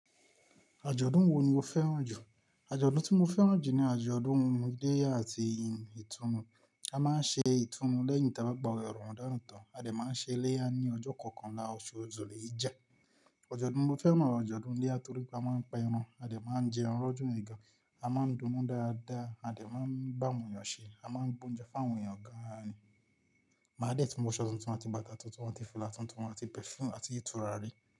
Àjọ̀dún wo ni o fẹ́ràn jù? Àjọ̀dún tí mo fẹ́ràn jù ni àjọ̀dún ọmọde àti ìtúnu A máa ń ṣe ìtúnu lẹ́yìn tá bá gba awẹ ramadan tan, a dẹ̀ máa ń ṣe iléyá ní ọjọ́ kọ̀ọ̀kanla oṣù Ajọ̀dún ti mo fẹ́ràn ni àjọ̀dún iléyá torípe a máa ń pa ẹran, a dẹ̀ máa ń jẹun lọdun yii gan, a máa ń dùnnú dáadáa, a dẹ̀ máa ń bá àwọn èèyàn ṣe, a máa ń gboúnjẹ fún àwọn èèyàn gan-an ni. Màá dẹ̀ tún wọ aṣọ́ tuntun, àti bàtà tuntun, àti fìlà tuntun, àti perfume, àti turarí.